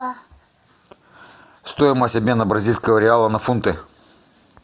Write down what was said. стоимость обмена бразильского реала на фунты